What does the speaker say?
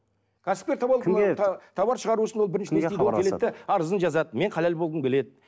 кәсіпкер товар шығару үшін ол арызын жазады мен халал болғым келеді